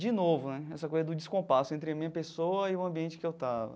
De novo né, essa coisa do descompasso entre a minha pessoa e o ambiente em que eu estava.